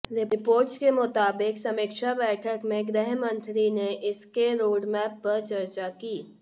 reports के मुताबिक़ समीक्षा बैठक में गृह मंत्री ने इसके रोडमैप पर चर्चा की